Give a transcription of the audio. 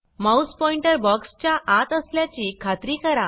Mouse pointer box च्या आत असल्याची खात्री करा